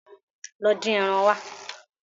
Lọ dín ẹran wa.